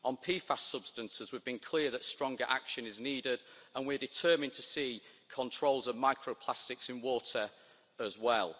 On PFAS substances we have been clear that stronger action is needed, and we are determined to see controls of microplastics in water as well.